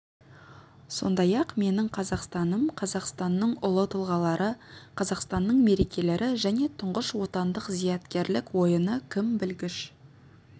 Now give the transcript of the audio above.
сондай-ақ менің қазақстаным қазақстанның ұлы тұлғалары қазақстанның мерекелері және тұңғыш отандық зияткерлік ойыны кім білгіш